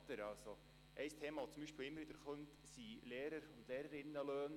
Ein wiederkehrendes Thema sind beispielsweise Lehrerinnen- und Lehrerlöhne.